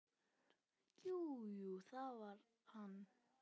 Jú, jú, það var hann.